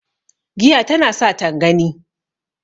giya tana sa tangani